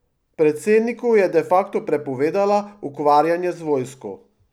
Predsedniku je de facto prepovedala ukvarjanje z vojsko.